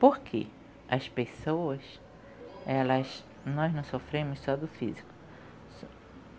Porque as pessoas, elas... nós não sofremos só do físico.